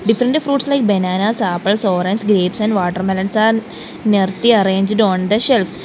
different fruits like bananas apples oranges grapes and watermelons are arranged on the shelf.